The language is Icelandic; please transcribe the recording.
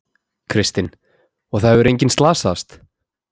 Kristinn: Og það hefur enginn slasast?